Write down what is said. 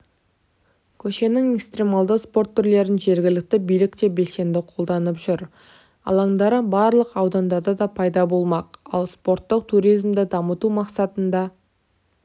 көшенің экстремалды спорт түрлерін жергілікті билік те белсенді қолдап жүр алаңдары барлық аудандарда да пайда болмақ ал спорттық туризмді дамыту мақсатында